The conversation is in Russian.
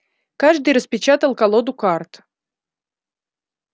каждый распечатал колоду карт